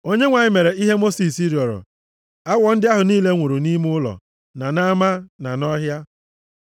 Onyenwe anyị mere ihe Mosis rịọrọ. Awọ ndị ahụ niile nwụrụ nʼime ụlọ, na nʼama, na nʼọhịa.